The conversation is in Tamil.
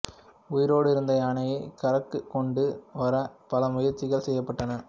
உயிரோடு இருந்த யானையைக் கரைக்கு கொண்டு வர பல முயற்சிகள் செய்யப்பட்டன